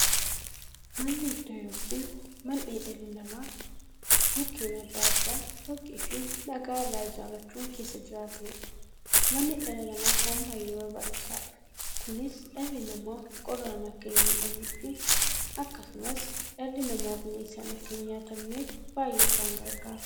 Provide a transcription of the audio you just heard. Manni iddoo yookiin mandhee dhalli namaa Mukkeen adda addaa, dhoqqeefi dhagaa irraa ijaarachuun keessa jiraataniidha. Manni dhala namaaf waan baay'ee barbaachisaadha. Kunis, dhalli namaa qorraan akka hinmiidhamneefi akkasumas dhalli namaa bineensaan akka hin nyaatamneef baay'ee isaan gargaara.